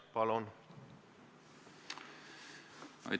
Palun!